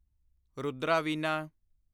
Rudra Veena